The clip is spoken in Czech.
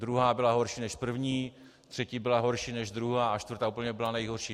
Druhá byla horší než první, třetí byla horší než druhá a čtvrtá úplně byla nejhorší.